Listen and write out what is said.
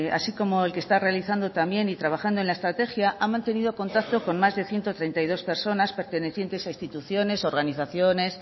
así como el que está realizando también y trabajando en la estrategia ha mantenido contacto con más de ciento treinta y dos personas pertenecientes a instituciones organizaciones